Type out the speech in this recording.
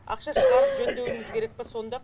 ақша шығарып жөндеуіміз керек пә сонда